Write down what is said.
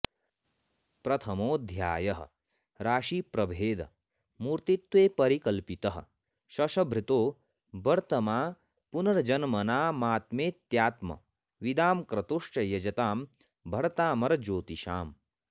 प्रथमोऽध्यायः राशि प्रभेद मूर्तित्वे परिकल्पितः शश भृतो वर्त्मापुनर्जन्मनामात्मेत्यात्म विदां क्रतुश्च यजतां भर्तामर ज्योतिषाम्